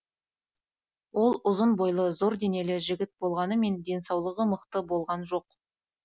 ол ұзын бойлы зор денелі жігіт болғанымен денсаулығы мықты болған жоқ